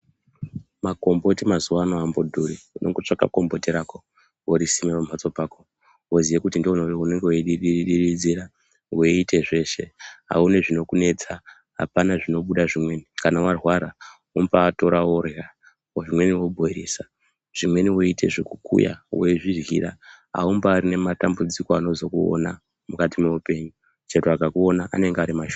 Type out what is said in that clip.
Magomboti mazuwano ambodhuri unongotsvaga gomboti rako worisima mumhatso pako woziye kuti ndiwe unenge weiridiridzira weite zveshe auoni zvinokunetsa apana zvinobuda zvimweni, kana warwara unobatora worya zvimweni wobhoyilisa zvimweni woite zvekukuya weizviryira aumbarina matambudziko anozokuona mukati meupenyu chero ekakuona anenge arimashoma.